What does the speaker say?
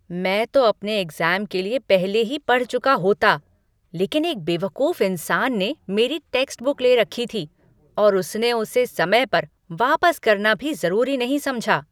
मैं तो अपने एग्ज़ाम के लिए पहले ही पढ़ चुका होता, लेकिन एक बेवकूफ इंसान ने मेरी टेक्स्टबुक ले रखी थी और उसने उसे समय पर वापस करना भी ज़रूरी नहीं समझा।